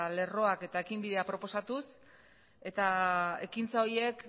lerroak eta ekinbidea proposatuz eta ekintza horiek